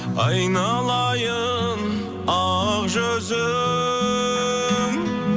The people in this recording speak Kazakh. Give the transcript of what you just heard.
айналайын ақ жүзің